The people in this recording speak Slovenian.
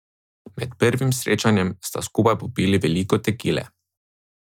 Med prvim srečanjem sta skupaj popili veliko tekile.